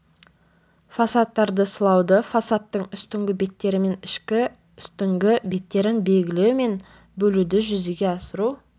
фасадтарды сылауды фасадтың үстіңгі беттері мен ішкі үстіңгі беттерін белгілеу мен бөлуді жүзеге асыру